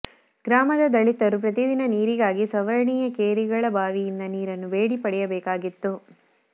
ಗ್ರಾಮದ ದಲಿತರು ಪ್ರತಿದಿನ ನೀರಿಗಾಗಿ ಸವರ್ಣೀಯ ಕೇರಿಗಳ ಬಾವಿಯಿಂದ ನೀರನ್ನು ಬೇಡಿ ಪಡೆಯಬೇಕಾಗಿತ್ತು